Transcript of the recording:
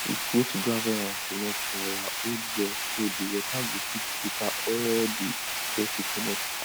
we put gravel and cement for our old well so di water go fit filter all the dirty commot